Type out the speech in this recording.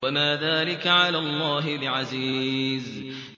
وَمَا ذَٰلِكَ عَلَى اللَّهِ بِعَزِيزٍ